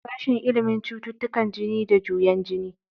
Sashen ilimin cututtukan jini da juyen jini.